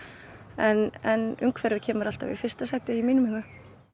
en en umhverfið kemur alltaf í fyrsta sæti í mínum huga